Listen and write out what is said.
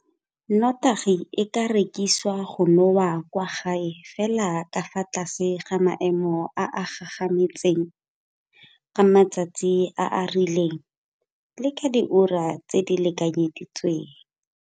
Nnotagi e ka rekiswa go nowa kwa gae fela ka fa tlase ga maemo a a gagametseng, ka matsatsi a a rileng le ka diura tse di lekanyeditsweng.